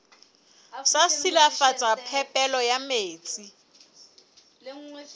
sa silafatsa phepelo ya metsi